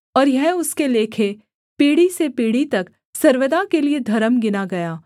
और यह उसके लेखे पीढ़ी से पीढ़ी तक सर्वदा के लिये धर्म गिना गया